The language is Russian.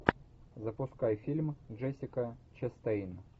запускай фильм джессика честейн